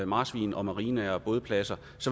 marsvin og marinaer og bådpladser